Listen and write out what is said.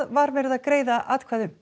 var verið að greiða atkvæði um